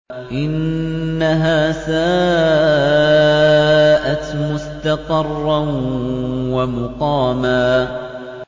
إِنَّهَا سَاءَتْ مُسْتَقَرًّا وَمُقَامًا